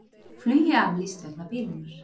Flugi aflýst vegna bilunar